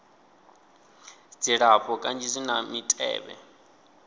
dzilafho kanzhi zwi na mitevhe